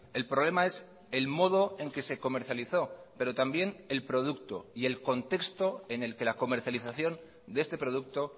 el problema es el modo en que se comercializó pero también el producto y el contexto en el que la comercialización de este producto